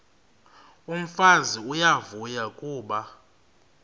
umfazi uyavuya kuba